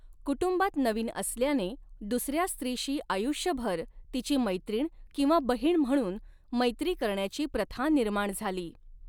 कुटुंबात नवीन असल्याने, दुसऱ्या स्त्रीशी आयुष्यभर तिची मैत्रीण किंवा बहीण म्हणून मैत्री करण्याची प्रथा निर्माण झाली.